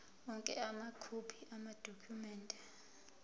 onke amakhophi amadokhumende